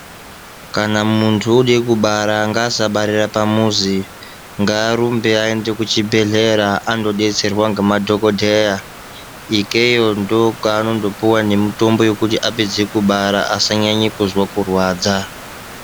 Kana muntu ode kubara ngaasabarira pamuzi ngaarumbe aende kuchibhedlera andobetserwa ngemadhokodheya ikeyo ndokwanonondopuwa nemitombo yekuti apedze kubara asanyanye kuzwa kurwadza .